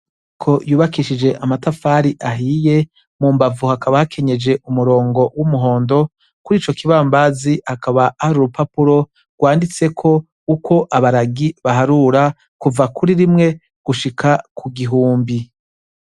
Inyubako yubakishije amatafari ahiye, mu mbavu hakaba hakenyeje umurongo w'umuhondo, kuri ico kibambazi hakaba hari urupapuro rwanditseko uko abaragi baharura, kuva kuri rimwe gushika ku gihumbi.